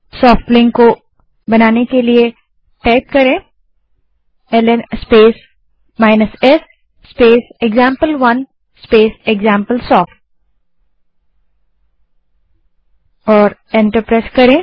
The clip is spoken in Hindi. सोफ्ट लिंक को बनाने के लिए ल्न स्पेस s स्पेस एक्जाम्पल1 स्पेस एक्जाम्पलसॉफ्ट कमांड टाइप करें